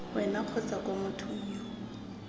wena kgotsa kwa mothong yo